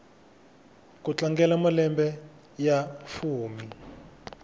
ku tlangela malembe ya fumi